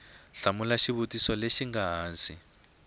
hlamula xivutiso lexi nga ehansi